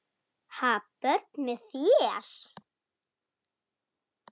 Ha, börn með þér?